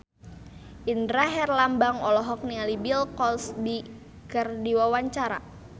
Indra Herlambang olohok ningali Bill Cosby keur diwawancara